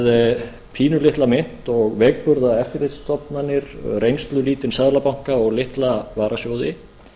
með pínulitla mynt og veikburða eftirlitsstofnanir reynslulítinn seðlabanka og litla varasjóði